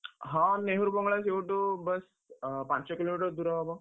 ହଁ, ନେହୁରୁ ବଙ୍ଗଳା ସେଇଠୁ ବାସ୍, ଆଁ ପାଞ୍ଚ kilometer ଦୂର ହବ।